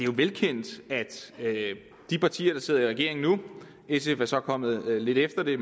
jo velkendt at de partier der sidder i regering nu sf er så kommet lidt efter det